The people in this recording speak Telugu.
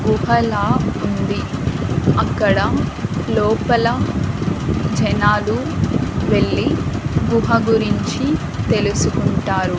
గుహలా ఉంది అక్కడ లోపల జనాలు వెళ్లి గుహ గురించి తెలుసుకుంటారు.